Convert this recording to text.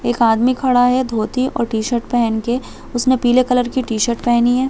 एक आदमी खड़ा है एक धोती और टी -शर्ट पहन के उसमे पिले कलर की टी शर्ट पेहनी हुई है।